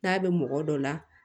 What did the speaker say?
N'a bɛ mɔgɔ dɔ la